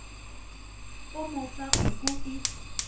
o mo fa nku e